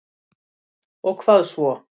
Og hvað svo?